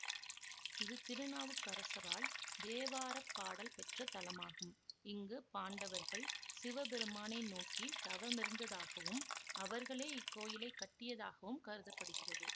இது திருநாவுக்கரசரால் தேவார பாடல் பெற்ற தலமாகும் இங்கு பாண்டவர்கள் சிவபெருமானை நோக்கி தவமிருந்ததாகவும் அவர்களே இக்கோயிலை கட்டியதாகவும் கருத படுகிறது